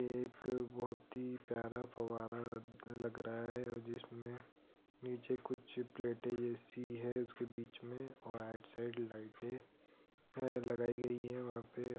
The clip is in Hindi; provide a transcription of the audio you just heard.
एक बहुत ही प्यारा फव्वारा लग रहा है और जिसमें नीचे कुछ प्लेटे जैसी हैं उसके बीच में वाइट साइड लाइटे है लगाई गई है वहाँ पे |